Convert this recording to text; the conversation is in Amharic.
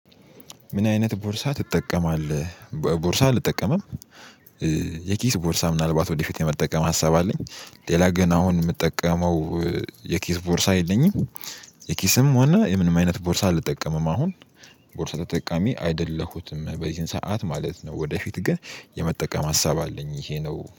ምን አይነት ቦርሳ ትጠቀማለህ? በ ቦርሳ አልጠቀምም። የኪስ ቦርሳ ምናልባት ወደፊት የመጠቀም ሀሳብ አለኝ። ሌላ ግን አሁን የምጠቀመው የኪስ ቦርሳ የለኝም። የኪስም ሆነ የምንም አይነት ቦርሳ አልጠቀምም። አሁን ቦርሳ ተጠቃሚ አይደለሁትም በዚህን ሰዓት ማለት ነው። ወደፊት ግን የመጠቀም ሀሳብ አለኝ ይሄ ነው